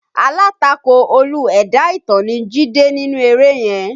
Alátakò Olú ẹ̀dá ìtàn ni Jídé nínú eré yẹn